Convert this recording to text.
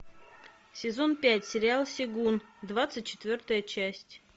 сезон пять сериал сегун двадцать четвертая часть